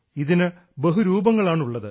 ഇതിന് ബഹുരൂപങ്ങളാണുള്ളത്